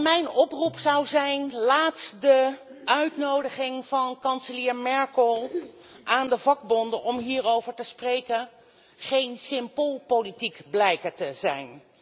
Mijn oproep luidt laat de uitnodiging van kanselier Merkel aan de vakbonden om hierover te spreken geen loutere politiek blijken te zijn.